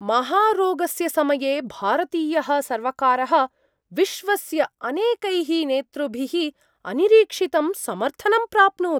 महारोगस्य समये भारतीयः सर्वकारः विश्वस्य अनेकैः नेतृभिः अनिरीक्षितं समर्थनं प्राप्नोत्।